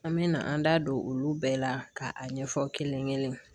An bɛ na an da don olu bɛɛ la ka a ɲɛfɔ kelen